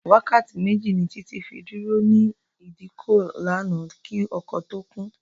Wákàtí méjì ni Títí fi dúró ní ìdíkọ̀ lánàá kí ọkọ̀ tó kún